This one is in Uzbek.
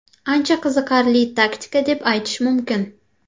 Ancha qiziqarli taktika deb aytish mumkin.